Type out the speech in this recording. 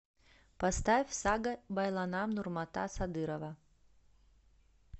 поставь сага байланам нурмата садырова